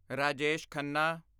Rajesh Khanna